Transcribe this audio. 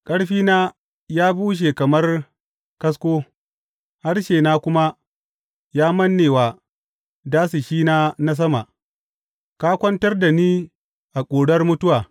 Ƙarfina ya bushe kamar kasko, harshena kuma ya manne wa dasashina na sama; ka kwantar da ni a ƙurar mutuwa.